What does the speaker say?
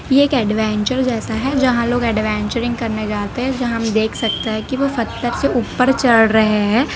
ये एक ऐडवेंचर जैसा है जहाँ लोग ऐडवेंचरिंग करने जाते है जहाँ हम देख सकते हैं कि वो पत्थर से ऊपर चढ़ रहे हैं।